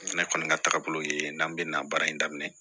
Ne kɔni ka taagabolo ye n'an bɛ na baara in daminɛ